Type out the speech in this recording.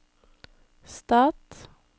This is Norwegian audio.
stat